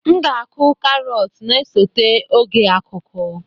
M ga-akụ carrots na-esote oge akuku